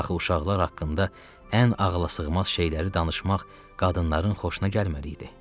Axı uşaqlar haqqında ən ağlasığmaz şeyləri danışmaq qadınların xoşuna gəlməli idi.